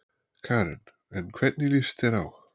Karen: En hvernig lýst þér á?